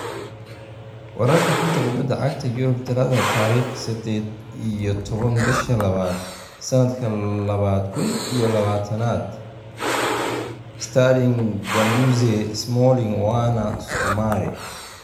Wararka xanta kubada cagta Yurub Talaado tariq sedeed iyo toban bisha labaad sanadka labada kun iyo labatanaad: Sterling, Guendouzi, Smalling, Werner, Soumare